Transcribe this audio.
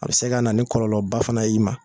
A bɛ se ka na nin kɔlɔlɔba fana y'i ma.